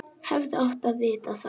Hefði átt að vita það.